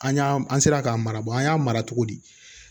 An y'an an sera k'a mara an y'a mara cogo di